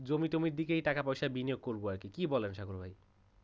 জমি টমি দেখে টাকা পয়সা বিনিয়োগ করবো আর কি কি বলেন ভাই?